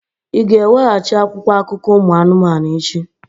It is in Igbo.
Ị ga-eweghachi akwụkwọ akụkọ ụmụ anụmanụ echi!